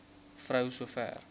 vrou so ver